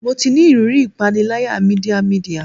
Mo ti ni iriri ipanilaya media media